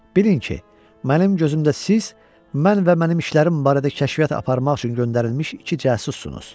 Bilin ki, mənim gözümdə siz mən və mənim işlərim barədə kəşfiyyat aparmaq üçün göndərilmiş iki casussunuz.